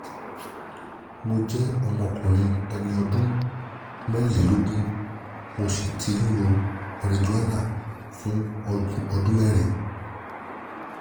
mo jẹ́ ọmọkùnrin ẹni ọdún mẹ́rìnlélógún mo sì ti ń lo marijúánà fún ọdún mẹ́rin